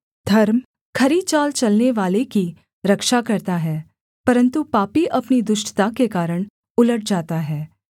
धर्म खरी चाल चलनेवाले की रक्षा करता है परन्तु पापी अपनी दुष्टता के कारण उलट जाता है